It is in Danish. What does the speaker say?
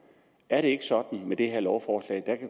er det ikke sådan med det her lovforslag at